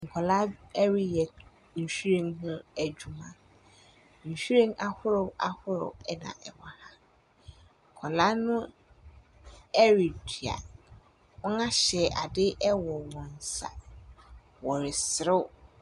Nkwaraa reyɛ nhwiren ho adwuma. Nhwiren ahorow ahorow naa ɛwɔ ha. Nkwaraa no redua. Wɔhyɛ ade wɔ wɔn nsa. Wɔreserew.